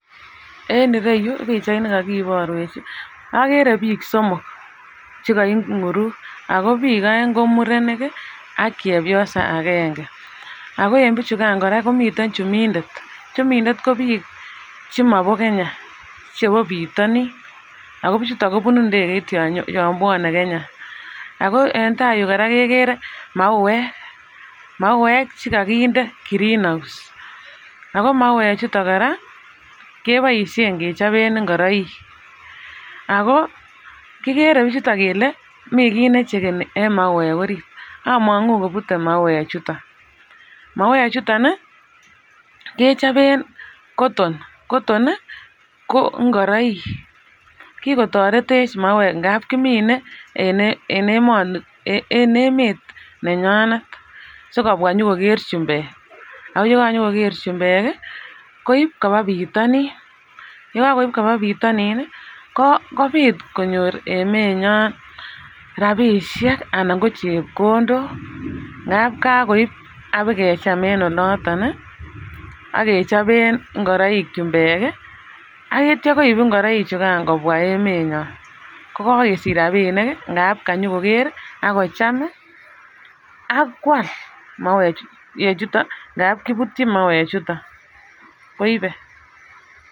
En iroyu pichait ne kakiborwech agere biik somok chekainguruk ago biik oeng ko murenik ak chepyosa agenge ago en bichukan komiten chumindet, chumindet ko biik chemobo kenya chebo bitonin ago bichuton kobunu indegeit yon bwone Kenya ago en taiyu koraa kegere mauwek , mauwek chekokinde green house ago mauek chuton koraa keboishen kechoben ingoroik ago kigere bichuton koraa kele miten kii nechegeni en mauwek orit amongu kobut mauwek chuton mauwek chuton kechob cotton , cotton ko ingoroik kikotoretech mauwek amun kimen en emoni en emet nenyonet sikobwa nyikokere chumbeek ago yegan chukokere chumbeek koib koba bitonin yegan koib koba bitonin kobit konyor emenyon rabishek anan ko chepkondok ngab koib ak bikecham en oloton age choben ingoroik chumbeek akitya koib ingoroik chukan kobwa emenyon kabwa konyikokere ago cham akwal mauek chuton ngab kibutyin mauwek chuton koibe.